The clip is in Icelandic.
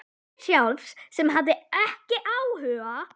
Ég sjálf sem hafði ekki áhuga.